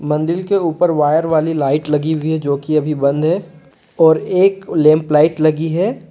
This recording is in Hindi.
मंदिर के ऊपर वायर वाली लाइट लगी हुई है जो कि अभी बंद है और एक लैंप लाइट लगी है।